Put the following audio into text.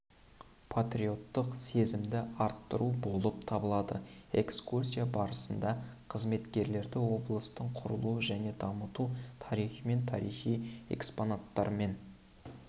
патриоттық сезімді арттыру болып табылады экскурсия барысында қызметкерлерді облыстың құрылу және даму тарихымен тарихи экспонаттарымен